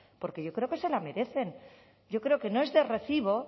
porque yo creo que se la merecen yo creo que no es de recibo